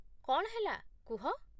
କ'ଣ ହେଲା କୁହ